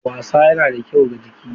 Wasa yana da kyau ga jiki.